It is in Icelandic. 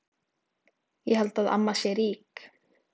Ég held að amma sé rík.